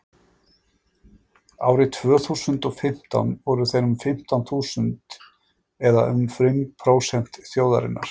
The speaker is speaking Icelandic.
árið tvö þúsund og og fimmtán voru þeir um fimmtán þúsund eða um fimm prósent þjóðarinnar